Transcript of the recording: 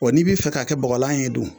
ni bi fɛ ka kɛ bɔgɔlan ye dun ?